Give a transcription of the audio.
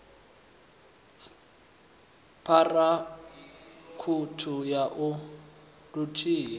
phara ṱhukhu ya i luthihi